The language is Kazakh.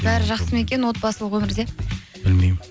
бәрі жақсы ма екен отбасылық өмірде білмеймін